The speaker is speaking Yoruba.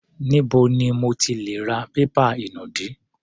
Níbo ni mo ti lè ra pépà inùdí?